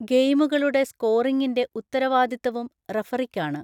ഗെയിമുകളുടെ സ്കോറിംഗിന്റെ ഉത്തരവാദിത്തവും റഫറിക്കാണ്.